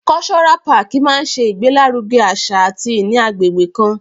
Cultural park máa ṣe ìgbé lárugẹ àṣà àti ìní agbègbè kan.